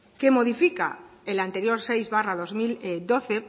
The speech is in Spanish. que modifica el anterior seis barra dos mil doce